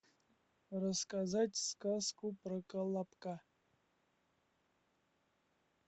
рассказать сказку про колобка